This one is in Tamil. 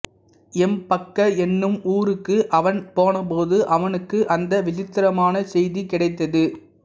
எம்பக்க எனும் ஊருக்கு அவன் போன போது அவனுக்கு அந்த விசித்திரமான செய்தி கிடைத்தது